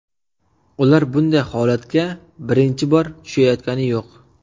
Ular bunday holatga birinchi bor tushayotgani yo‘q.